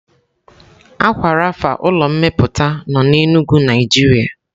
Aqua rapha ulọ mmeputa nọ na Enugu Naijiria